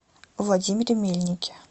владимире мельнике